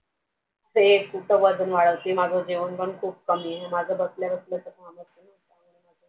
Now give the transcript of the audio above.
ते एक खूपच वजन वाढत्या जेवण पण खूप कमी आहे माझं बसल्या बसल्या